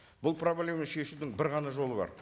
бұл проблеманы шешудің бір ғана жолы бар